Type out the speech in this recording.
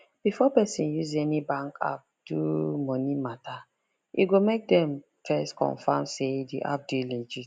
before person use any bank app do money matter e good make dem first confirm say the app dey legit